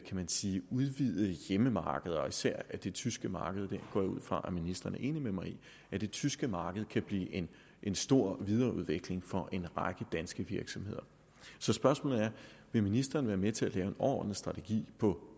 man sige udvidede hjemmemarkeder især det tyske marked jeg går ud fra at ministeren er enig med mig i at det tyske marked kan blive en stor videreudvikling for en række danske virksomheder så spørgsmålet er vil ministeren være med til at lave en overordnet strategi på